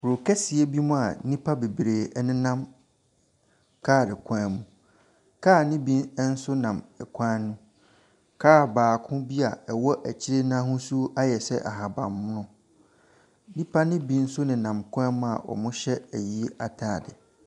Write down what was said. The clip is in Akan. Kuro kɛseɛ bi mua nnipa bebree ɛnenam car kwan mu. Car no bi ɛnso nam kwan no mu. Car baako bi a ɛwɔ akyire n'ahosuo ayɛ sɛ ahaban mono. Nnipa no bi nso ne nam kwan mu a wɔhyɛ ayie ataade.